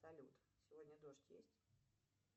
салют сегодня дождь есть